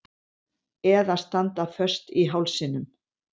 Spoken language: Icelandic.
Eða standa föst í hálsinum.